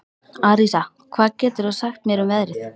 Arisa, hvað geturðu sagt mér um veðrið?